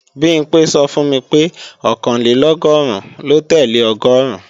Bimpé sọ fún mi pé Ọ̀kànlélọ́gọ́rùn lo tẹ́lẹ̀ ọgọ́ọ̀rún